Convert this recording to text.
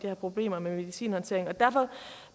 her problemer med medicinhåndteringen derfor